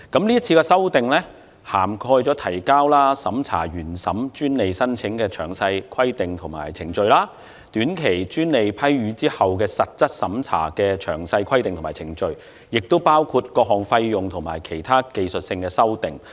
這次修訂涵蓋提交和審查原授專利申請的詳細規定及程序；短期專利批予後的實質審查的詳細規定及程序，亦包括各項費用和其他技術性修訂。